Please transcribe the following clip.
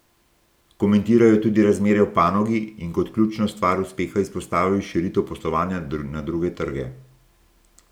Komentiral je tudi razmere v panogi in kot ključno stvar uspeha izpostavil širitev poslovanja na druge trge.